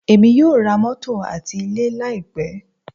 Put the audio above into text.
Èmi yóò ra mótò àti ilé láì pẹ́.